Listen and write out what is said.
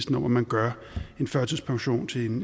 om at man gør en førtidspension til en